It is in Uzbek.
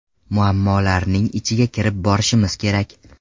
Muammolarning ichiga kirib borishimiz kerak.